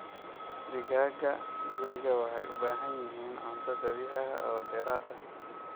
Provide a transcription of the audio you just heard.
Digaagga gurigu waxay u baahan yihiin cunto dabiici ah oo dheeraad ah.